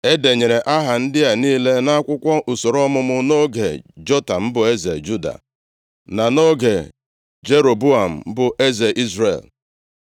E denyere aha ndị a niile nʼakwụkwọ usoro ọmụmụ nʼoge Jotam bụ eze Juda, na nʼoge Jeroboam bụ eze Izrel.